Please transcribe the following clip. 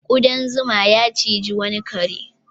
Ƙudan zuma ya ciji wani kare.